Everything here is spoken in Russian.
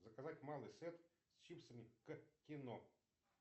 заказать малый сет с чипсами к кино